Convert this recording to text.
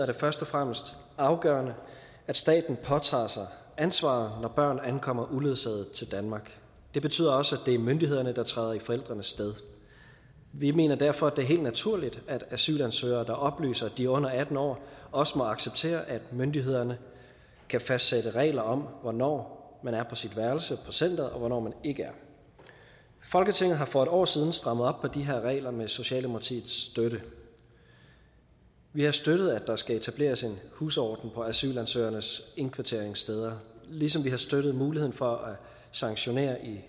det først og fremmest afgørende at staten påtager sig ansvaret når børn ankommer uledsaget til danmark det betyder også at det er myndighederne der træder i forældrenes sted vi mener derfor at det er helt naturligt at asylansøgere der oplyser at de er under atten år også må acceptere at myndighederne kan fastsætte regler om hvornår man er på sit værelse på centeret og hvornår man ikke er folketinget har for en år siden strammet op på de her regler med socialdemokratiets støtte vi har støttet at der skal etableres en husorden på asylansøgernes indkvarteringssteder ligesom vi har støttet muligheden for at sanktionere i